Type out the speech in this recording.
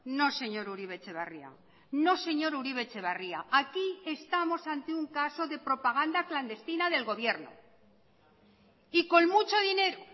no señor uribe etxebarria no señor uribe etxebarria aquí estamos ante un caso de propaganda clandestina del gobierno y con mucho dinero